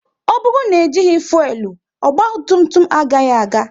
Ọ bụrụ na ejighi fuelu, ogba tum tum agaghị aga